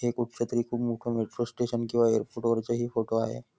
हे कुठच्यातरी खुप मोठ मेट्रो स्टेशन किंवा एअरपोर्ट वरचा हे फोटो आहे.